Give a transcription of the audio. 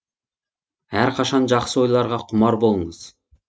әрқашан жақсы ойларға құмар болыңыз